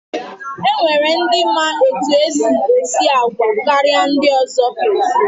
E nwere ndi ma etu e si esi àgwà karịa ndị ọzọ.